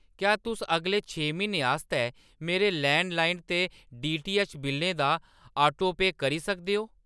क्या तुस अगले छे म्हीनें आस्तै मेरे लैंडलाइन ते डीटीऐच्च बिल्लें दा ऑटो पेऽ करी सकदे ओ ?